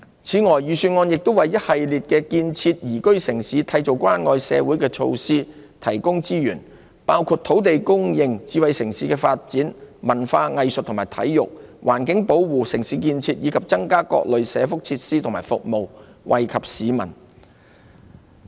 此外，預算案亦為一系列建設宜居城市、締造關愛社會的措施提供資源，包括土地供應、智慧城市發展、文化藝術及體育、環境保護、城市建設，以及增加各類社福設施和服務，惠及市民。